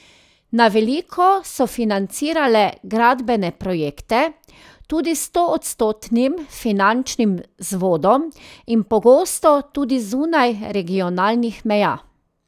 Na veliko so financirale gradbene projekte, tudi s stoodstotnim finančnim vzvodom in pogosto tudi zunaj regionalnih meja.